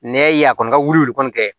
Nɛ ye a kɔni ka wuli kɔni kɛ